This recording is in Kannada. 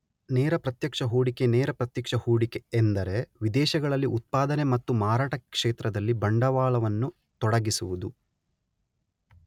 ನೇರ ಪ್ರತ್ಯಕ್ಷ ಹೂಡಿಕೆನೇರ ಪ್ರತ್ಯಕ್ಷ ಹೂಡಿಕೆ ಎಂದರೆ ವಿದೇಶಗಳಲ್ಲಿ ಉತ್ಪಾದನೆ ಮತ್ತು ಮಾರಾಟ ಕ್ಷೇತ್ರಗಳಲ್ಲಿ ಬಂಡವಾಳವನ್ನು ತೊಡಗಿಸುವುದು